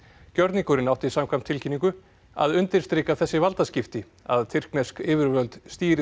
gjörningurinn átti samkvæmt tilkynningu að undirstrika þessi valdaskipti að tyrknesk yfirvöld stýri